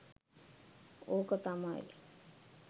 ඕක තමයි.